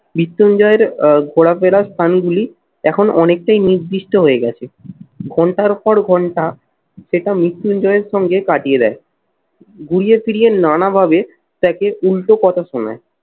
মৃত্যুঞ্জয়ের আহ ঘোরাফেরা স্থানগুলি এখন অনেকটাই নির্দিষ্ট হয়ে গেছে। ঘন্টার পর ঘন্টা সেটা মৃত্যুঞ্জয় এর সঙ্গে কাটিয়ে দেয়। ঘুরিয়ে ফিরিয়ে নানাভাবে তাকে উল্টো কথা শোনায়।